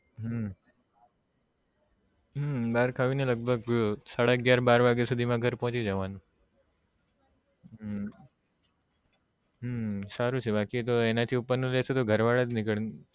હમ હમ બાર ખાયી ને લગભગ સાડા અગિયાર બાર વાગ્યા સુધી માં ઘર પોચી જવા નું હમ હમ સારું છે બાકી તો એના થી તો ઉપર લેશું તો ઘર વાળા જ નીકળ